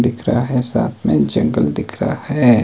दिख रहा है साथ मे जंगल दिख रहा है।